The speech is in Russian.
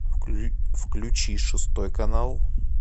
включи шестой канал